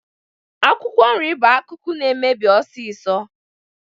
Akwụkwọ nri bụ akụkụ na-emebi ọsịsọ